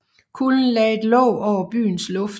Kulden lagde et låg over byens luft